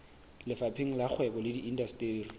lefapheng la kgwebo le indasteri